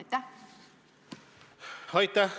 Aitäh!